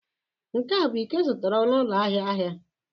Nke a bụ iko ị zụtara n'ụlọ ahịa ahịa?